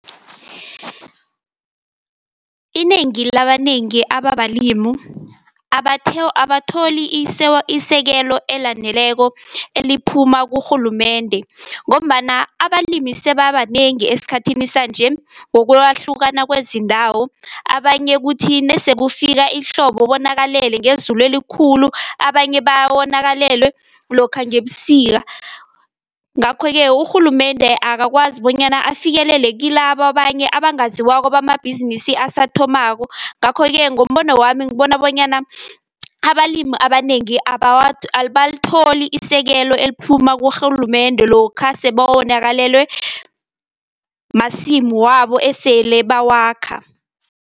Inengi labanengi ababalimu abatholi isekelo elaneleko eliphuma kurhulumende, ngombana abalimi sebabanengi esikhathini sanje ngokwahlukana kwezindawo, abanye kuthi nesekufika ihlobo bonakalele ngezulu elikhulu, abanye bawonakalelwe lokha ngebusika. Ngakho-ke urhulumende akakwazi bonyana afikelele kilabo abanye abangaziwako bamabhizinisi asathomako. Ngakho-ke ngombono wami ngibona bonyana, abalimu abanengi abalitholi isekelo eliphuma kurhulumende lokha sebawonakalelwe masimu wabo esele bawakha.